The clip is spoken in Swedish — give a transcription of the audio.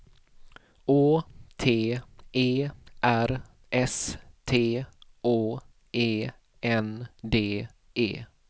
Å T E R S T Å E N D E